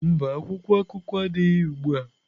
Mba, akwụkwọ akụkọ adịghị ugbu a.